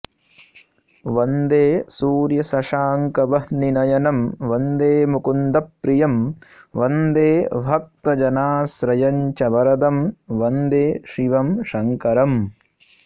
वन्दे सूर्यशशाङ्कवह्निनयनं वन्दे मुकुन्दप्रियं वन्दे भक्तजनाश्रयं च वरदं वन्दे शिवं शङ्करम्